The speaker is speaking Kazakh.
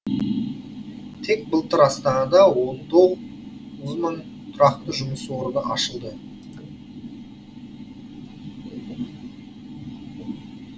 тек былтыр астанада он тоғыз мың тұрақты жұмыс орны ашылды